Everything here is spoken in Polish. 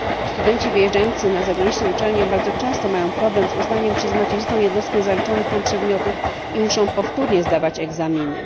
Studenci wyjeżdzający na zagraniczną uczelnię bardzo często mają problem z uznaniem przez macierzystą jednostkę zaliczonych tam przedmiotów i muszą powtórnie zdawać egzaminy.